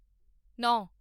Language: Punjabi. ਨੌਂ